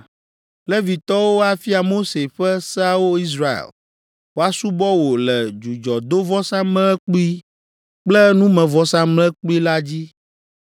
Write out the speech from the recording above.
Levitɔwo afia Mose ƒe seawo Israel woasubɔ wò le dzudzɔdovɔsamlekpui kple numevɔsamlekpui la dzi.